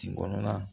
Kin kɔnɔna